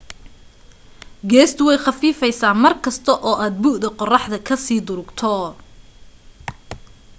gaastu way khafiifaysa markasta oo aad bu'da qorraxda ka sii durugto